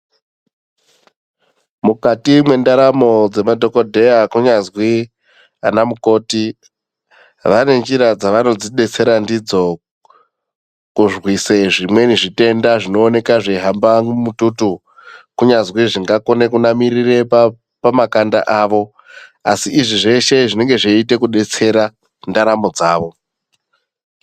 Mukati mwendaramo dzemadhokodheya kunyazwi anamukoti, vane njira dzavanodzidetsera ndidzo kurwise zvimweni zvitenda zvinooneka zveihamba mumututu, kunyazwi zvingakone kunamirire pamakanda avo, asi izvi zveshe zvinenge zveiite kudetsera ndaramo dzawo.